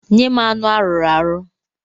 Nye m anụ a rụrụ arụ!